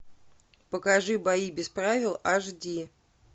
покажи бои без правил аш ди